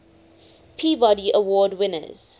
peabody award winners